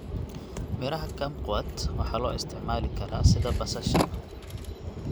Midhaha kumquat waxaa loo isticmaali karaa sida basasha.